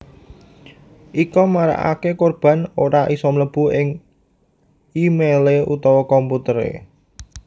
Ika marakaké korban ora isa mlebu ing é mailé utawa komputeré